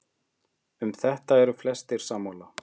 Um þetta eru flestir sammála.